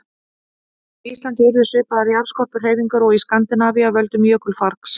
Á Íslandi urðu svipaðar jarðskorpuhreyfingar og í Skandinavíu af völdum jökulfargs.